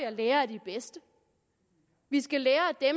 at lære af de bedste vi skal lære af